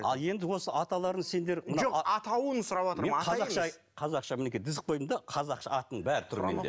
ал енді осы аталарын сендер мына жоқ атауын сұраватырмын мен қазақша айт қазақша мінекей тізіп қойдым да қазақша атын бәрі тұр менде